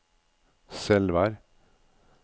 Selvær